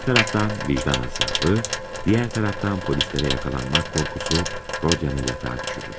Bir tərəfdən vicdan əzabı, digər tərəfdən polislərə yaxalanmaq qorxusu Rodyanı yatağa düşürür.